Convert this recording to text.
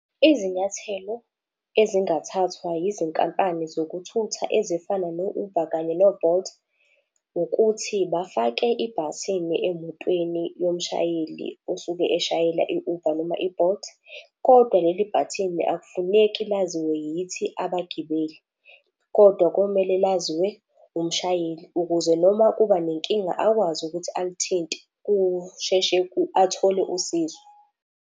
Izinyathelo ezingathathwa yizinkampani zokuthutha ezifana no-Uber kanye no-Bolt, ukuthi bafake ibhathini emotweni yomshayeli osuke eshayela i-Uber noma i-Bolt. Kodwa leli bhathini akufuneki laziwe yithi abagibeli, kodwa komele laziwe umshayeli ukuze noma kuba nenkinga akwazi ukuthi alithinte kusheshe athole usizo.